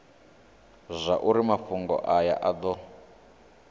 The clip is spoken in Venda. zwauri mafhungo aya a do